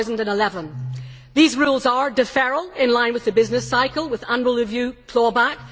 2011. These rules are deferral, in line with the business cycle with annual review clawback